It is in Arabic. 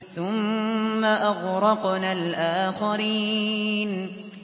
ثُمَّ أَغْرَقْنَا الْآخَرِينَ